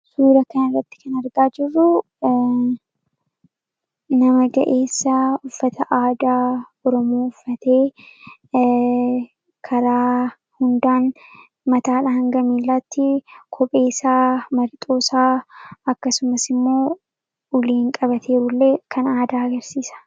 suura kan rratti kan argaa jirruu nama ga'eessaa uffata aadaa oramoffatee karaa hundaan mataadha hanga miilaatti kopheessaa marixoosaa akkasumas immoo uliiin qabateeru illee kan aadaa agarsiisa